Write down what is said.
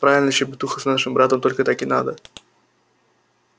правильно щебетуха с нашим братом только так и надо